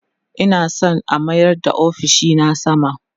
Ina San a mayar da ofishina sama